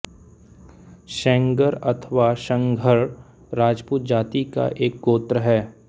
सेंगर अथवा संघर राजपूत जाति का एक गोत्र है